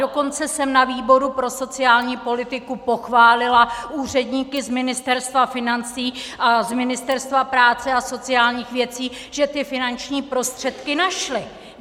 Dokonce jsem na výboru pro sociální politiku pochválila úředníky z Ministerstva financí a z Ministerstva práce a sociálních věcí, že ty finanční prostředky našli.